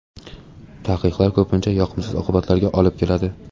Taqiqlar ko‘pincha yoqimsiz oqibatlarga olib keladi.